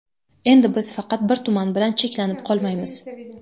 Endi biz faqat bir tuman bilan cheklanib qolmaymiz.